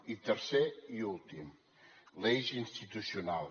i tercer i últim l’eix institucional